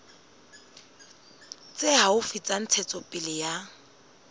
tse haufi tsa ntshetsopele ya